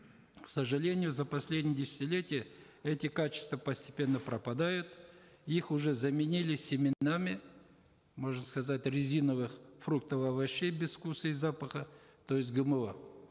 к сожалению за последние десятилетия эти качества постепенно пропадают их уже заменили семенами можно сказать резиновых фруктов овощей без вкуса и запаха то есть гмо